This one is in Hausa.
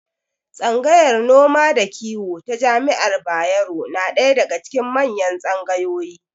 Tsangayar noma da kiwo ta jami'ar Bayero na ɗaya daga cikin manyan tsangayoyi.